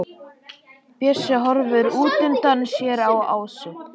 Bjössi horfir útundan sér á Ásu.